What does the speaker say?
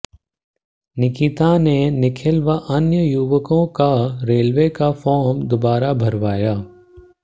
निकिता ने निखिल व अन्य युवकों का रेलवे का फार्म दोबारा भरवाया